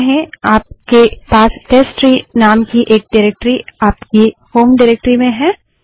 तो कहें आपके पास टेस्टट्री नाम की एक डाइरेक्टरी आपकी होम डाइरेक्टरी में है